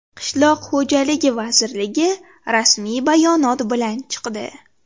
Qishloq xo‘jaligi vazirligi rasmiy bayonot bilan chiqdi.